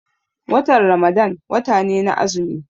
Watan Ramadan wata ne na azumi.